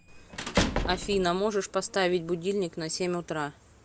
афина можешь поставить будильник на семь утра